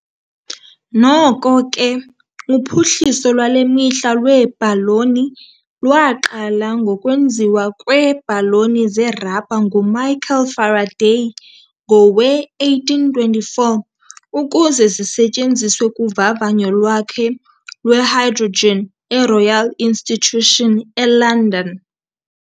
Noko ke, uphuhliso lwale mihla lweebhaloni lwaqala ngokwenziwa kweebhaloni zerabha nguMichael Faraday ngowe-1824 ukuze zisetyenziswe kuvavanyo lwakhe lwehydrogen eRoyal Institution eLondon.